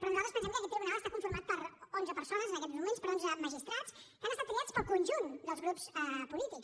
però nosaltres pensem que aquest tribunal està conformat per onze persones en aquests moments per onze magistrats que han estat triats pel conjunt dels grups polítics